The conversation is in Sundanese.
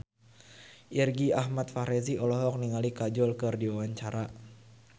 Irgi Ahmad Fahrezi olohok ningali Kajol keur diwawancara